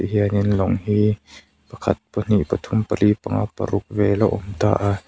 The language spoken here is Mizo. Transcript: hianin lawng hi pakhat pahnih pathum pali panga paruk vel a awm ta.